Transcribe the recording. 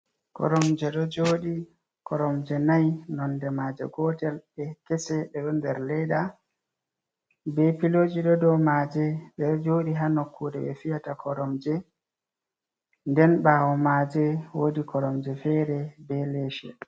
Koromje ɗo joɗi, koromje nai nonde maaje gotel ɗe kese ɗeɗo nder leda be piloji ɗo dow maaje. Ɓeɗo joɗi haa nokkure ɓe fiyata koromje, nden ɓawo maaje wodi koromje fere be leshe.